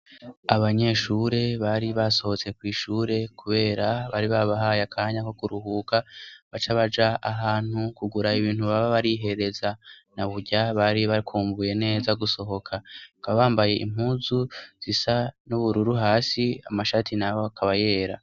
Abanyeshure bari basohotse kw'ishure, kubera bari babahaye akanya ko kuruhuka baca abaja ahantu kugura ibintu baba barihereza na burya bari bakumvuye neza gusohoka ko abambaye impuzu zisa n'ubururu hasi amashati nabo akabayera.